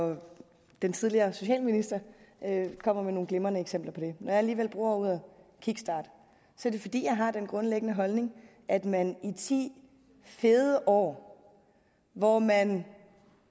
og den tidligere socialminister kommer med nogle glimrende eksempler på det når jeg alligevel bruger ordet kickstart er det fordi jeg har den grundlæggende holdning at man i de ti fede år hvor man